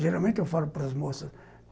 Geralmente, eu falo para as moças.